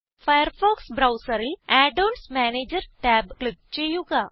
Firefox ബ്രൌസറിൽ add ons manager tab click ചെയ്യുക